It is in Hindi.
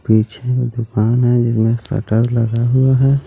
पिछे दुकान है जिसमें सटर लगा हुआ है.